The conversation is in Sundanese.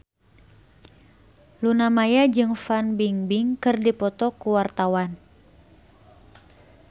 Luna Maya jeung Fan Bingbing keur dipoto ku wartawan